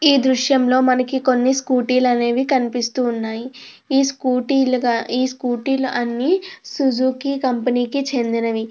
ఈ దృశ్యంలో మనకి కొన్ని స్కూటీలు అనేవి కనిపిస్తూ ఉన్నాయి. ఈ స్కూటీలు అన్నీ సుజుకి కంపెనీకి చెందినవి.